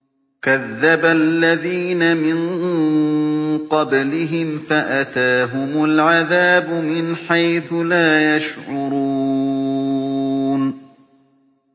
كَذَّبَ الَّذِينَ مِن قَبْلِهِمْ فَأَتَاهُمُ الْعَذَابُ مِنْ حَيْثُ لَا يَشْعُرُونَ